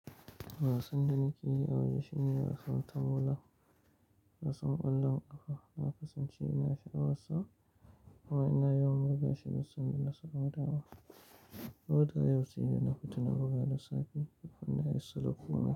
Wasan da nake yi a waje shine wasan tamola, wasan ƙwallon ƙafa na kasance ina sha'awar sa amma ina yawan buga shi da wasan da na saba da wa. Koda yaushe ina fitan buga da safe, wannan yana sauƙa min.